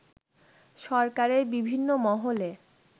সরকারের বিভিন্ন মহলে